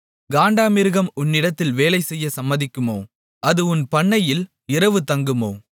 காண்டாமிருகம் உன்னிடத்தில் வேலை செய்ய சம்மதிக்குமோ அது உன் பண்ணையில் இரவு தங்குமோ